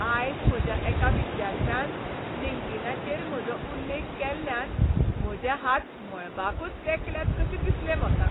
आयज म्हज्या एका विद्यार्थ्यान लिंक्डीनाचेर म्हजो उल्लेख केल्ल्यान म्हजे हात मळबाकच तेंकल्यात कशें दिसलें म्हाका.